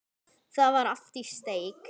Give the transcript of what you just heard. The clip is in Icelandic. Það var allt í steik.